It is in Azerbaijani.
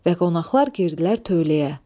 Və qonaqlar girdilər tövləyə.